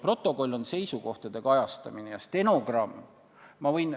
Protokoll on seisukohtade kajastamine ja stenogramm ...